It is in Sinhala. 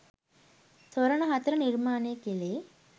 තොරණ හතර නිර්මාණය කෙළේ